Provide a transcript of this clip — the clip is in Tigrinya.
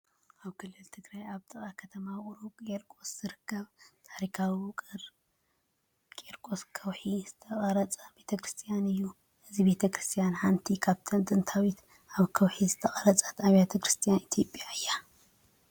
ኣብ ክልል ትግራይ ኣብ ጥቓ ከተማ ውቕሮ ቒርቆስ ዝርከብ፣ ታሪኻዊ ውቕሮ ቒርቆስ ከውሒ ዝተቖርፀ ቤተክርስትያን እዩ። እዛ ቤተ ክርስቲያን ሓንቲ ካብተን ጥንታውያን ኣብ ከውሒ ዝተቖርጻ ኣብያተ ክርስቲያናት ኢትዮጵያ እያ።